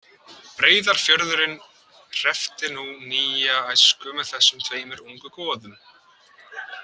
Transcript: Breiðafjörðurinn hreppti nú nýja æsku með þessum tveimur ungu goðum.